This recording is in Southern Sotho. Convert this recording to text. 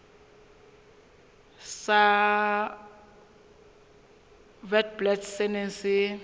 sa witblits se neng se